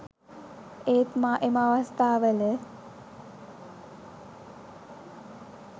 ඒත් මා එම අවස්ථාවල